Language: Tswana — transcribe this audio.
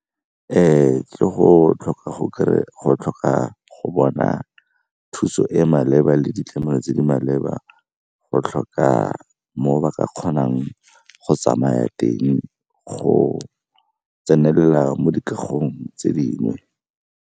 ke go tlhoka go bona thuso e maleba le ditlamelo tse di maleba, go tlhoka moo ba ka kgonang go tsamaya teng go tsenela mo dikagong tse dingwe.